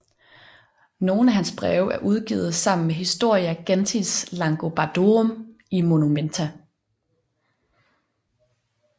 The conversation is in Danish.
Nogle af hans breve er udgivet sammen med Historia gentis Langobardorum i Monumenta